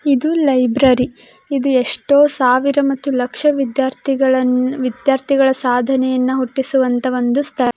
ಇದು ಲೈಬ್ರೆರಿ . ಇದು ಎಷ್ಟೋ ಸಾವಿರ ಮತ್ತು ಲಕ್ಷ ವಿದ್ಯಾರ್ಥಿಗಳನ್ನು ವಿದ್ಯಾರ್ಥಿಗಳ ಸಾಧನೆ ಯನ್ನ ಹುಟ್ಟಿಸುವಂಥ ಒಂದು ಸ್ಥ --